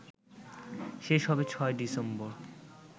শেষ হবে ৬ ডিসেম্বর